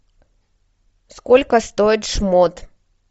сколько стоит шмот